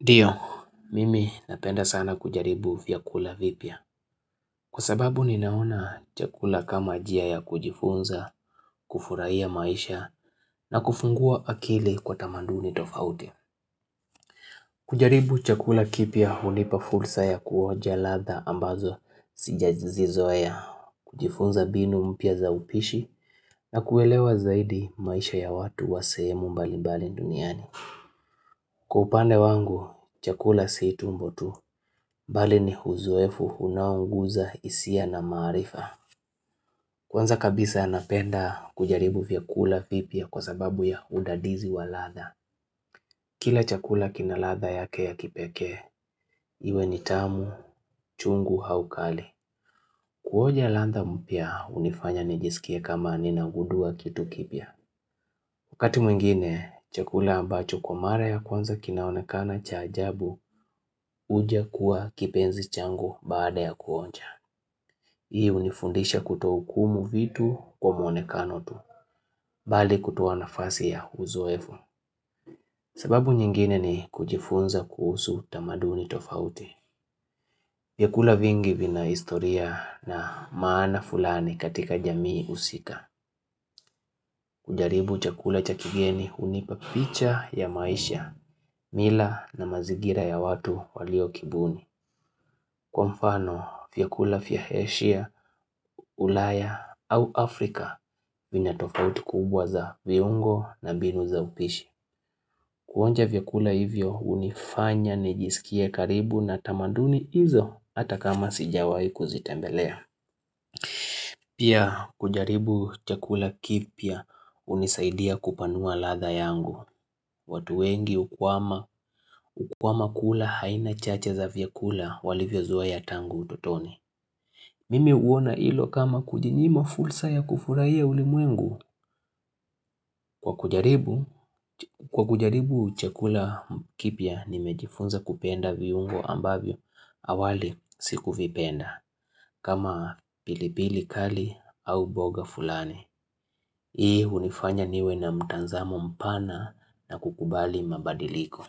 Ndio, mimi napenda sana kujaribu vyakula vipya. Kwa sababu ninaona chakula kama njia ya kujifunza, kufurahia maisha na kufungua akili kwa tamanduni tofauti. Kujaribu chakula kipya hulipa fursa ya kuoja ladha ambazo sijazi zoea kujifunza mbinu mpya za upishi na kuelewa zaidi maisha ya watu wasehemu mbali mbali duniani. Kwa upande wangu chakula si tumbo tu bali ni uzoefu unaoguza hisia na maarifa Kwanza kabisa napenda kujaribu vyakula vipya kwa sababu ya udadizi wa ladha Kila chakula kina ladha yake ya kipekee iwe ni tamu chungu au kali Kuoja ladha mpya unifanya nijisikia kama ninagudua kitu kipya Wakati mwingine, chakula ambacho kwa mara ya kwanza kinaonekana cha ajabu huja kuwa kipenzi changu baada ya kuonja. Hii unifundisha kuto hukumu vitu kwa mwonekano tu, bali kutoa nafasi ya uzoefu. Sababu nyingine ni kujifunza kuhusu tamaduni tofauti. Vyakula vingi vina historia na maana fulani katika jamii husika. Kujaribu chakula cha kigeni hunipa picha ya maisha, mila na mazigira ya watu walio kibuni. Kwa mfano, vyakula vya heshia, ulaya au Afrika vinatofauti kubwa za viungo na mbinu za upishi. Kuonja vyakula hivyo unifanya nijisikia karibu na tamaduni hizo hata kama sijawai kuzitembelea. Pia kujaribu chakula kipya unisaidia kupanua ladha yangu. Watu wengi hukwama kula aina chache za vyakula walivyo zoea tangu utotoni. Mimi uona hilo kama kujinyima fursa ya kufurahia ulimwengu. Kwa kujaribu, kwa kujaribu chakula kipya nimejifunza kupenda viungo ambavyo awali siku vipenda. Kama pilipili kali au mboga fulani. Hii hunifanya niwe na mtanzamo mpana na kukubali mabadiliko.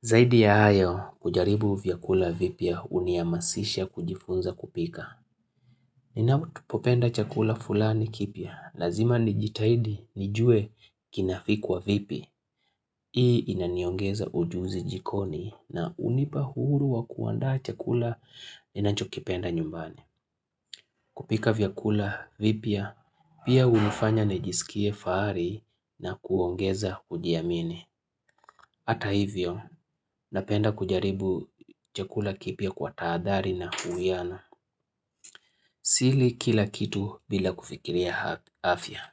Zaidi ya hayo kujaribu vyakula vipya unihamasisha kujifunza kupika Ninatupopenda chakula fulani kipya Lazima nijitahidi nijuwe kinapikwa vipi Hii inaniongeza ujuzi jikoni na unipa uhuru wa kuanda chakula ninacho kipenda nyumbani kupika vyakula vipya pia hunifanya nijiskie fahari na kuongeza kujiamini Hata hivyo, napenda kujaribu chakula kipya kwa tahadhari na uwiana. Sili kila kitu bila kufikiria afya.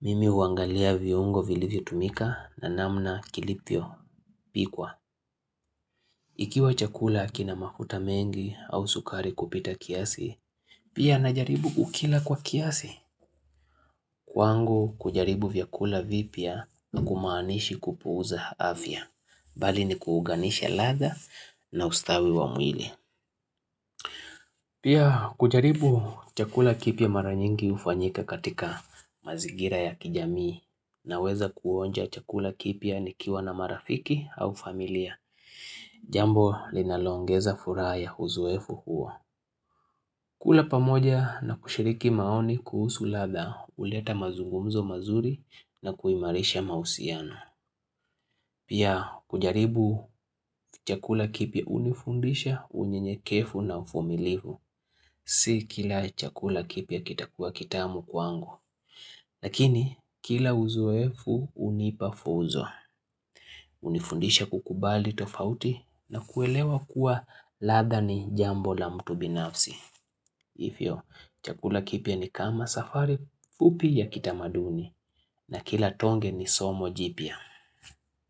Mimi uangalia viungo vilivyotumika na namna kilivio pikwa. Ikiwa chakula kina mafuta mengi au sukari kupita kiasi, pia najaribu kukila kwa kiasi. Kwangu kujaribu vyakula vipya hakumaanishi kupuuza afya. Bali ni kuuganisha ladha na ustawi wa mwili. Pia kujaribu chakula kipya mara nyingi hufanyika katika mazigira ya kijamii naweza kuonja chakula kipya nikiwa na marafiki au familia. Jambo linaloongeza furaha ya uzoefu huo. Kula pamoja na kushiriki maoni kuhusu ladha huleta mazungumzo mazuri na kuimarisha mahusiano. Pia kujaribu chakula kipya unifundisha unyenye kevu na uvumilivu. Si kila chakula kipya kita kuwa kitamu kwangu. Lakini kila uzoefu hunipa fuzo. Unifundisha kukubali tofauti na kuelewa kuwa ladha ni jambo la mtu binafsi. Hivyo chakula kipya ni kama safari fupi ya kitamaduni na kila tonge ni somo jipya.